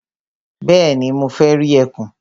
Bẹ́ẹ̀ni, mo fẹ́ rí ẹkùn.